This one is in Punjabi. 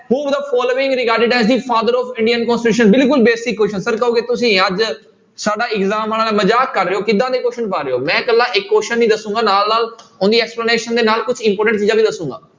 Who the following father of Indian constitution ਬਿਲਕੁਲ basic question sir ਕਹੋਗੇ ਤੁਸੀਂ ਅੱਜ ਸਾਡਾ exam ਵਾਲਿਆਂ ਨਾਲ ਮਜਾਕ ਕਰ ਰਹੇ ਹੋ ਕਿੱਦਾਂ ਦੇ question ਪਾ ਰਹੇ ਹੋ, ਮੈਂ ਇਕੱਲਾ ਇੱਕ question ਨੀ ਦੱਸਾਂਗਾ ਨਾਲ ਨਾਲ ਉਹਦੀ explanation ਦੇ ਨਾਲ ਕੁਛ important ਚੀਜ਼ਾਂ ਵੀ ਦੱਸਾਂਗਾ।